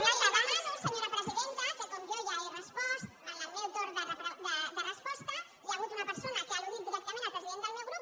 li demano senyora presidenta que com que jo ja he respost en el meu torn de resposta i hi ha hagut una persona que ha al·ludit directament el president del meu grup